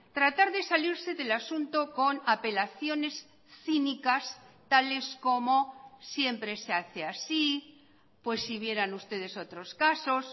tratar de salirse del asunto con apelaciones cínicas tales como siempre se hace así pues si vieran ustedes otros casos